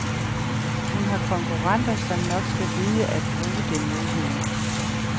Hun har konkurrenter, som nok skal vide at bruge det mod hende.